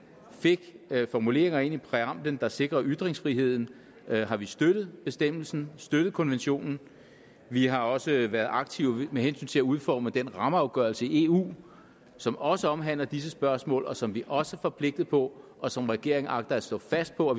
fik formuleringer ind i præamblen der sikrer ytringsfriheden har vi støttet bestemmelsen støttet konventionen vi har også været aktive med hensyn til at udforme den rammeafgørelse i eu som også omhandler disse spørgsmål og som vi også er forpligtede på og som regeringen agter at stå fast på